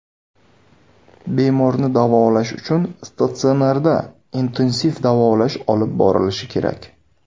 Bemorni davolash uchun statsionarda intensiv davolash olib borilishi kerak.